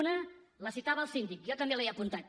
una la citava el síndic jo també l’he apuntat